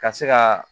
Ka se ka